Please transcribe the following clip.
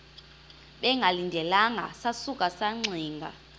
bengalindelanga sasuka saxinga